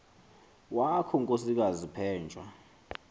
wakho nkosikazi penjwa